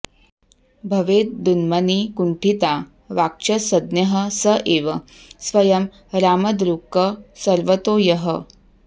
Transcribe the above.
भवेदुन्मनी कुण्ठिता वाक्च सद्यः स एव स्वयं रामदृक् सर्वतो यः